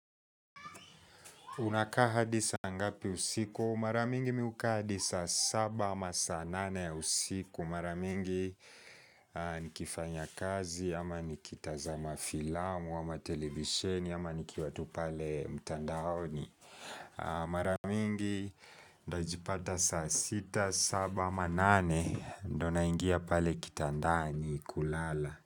Unakaa hadi saa ngapi usiku? Mara mingi mimi hukaa hadi saa saba ama saa nane ya usiku. Mara mingi nikifanya kazi ama nikitazama filamu ama televisheni ama nikiwa tu pale mtandaoni. Mara mingi ntajipata sa 6, 7 ama 8. Ndio naingia pale kitandani kulala.